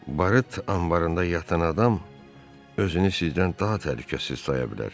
barıt anbarında yatan adam özünü sizdən daha təhlükəsiz saya bilər.